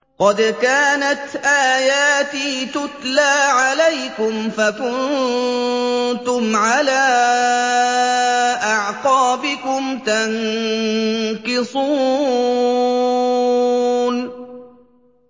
قَدْ كَانَتْ آيَاتِي تُتْلَىٰ عَلَيْكُمْ فَكُنتُمْ عَلَىٰ أَعْقَابِكُمْ تَنكِصُونَ